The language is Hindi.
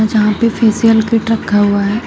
जहां पे फेशियल किट रखा हुआ है।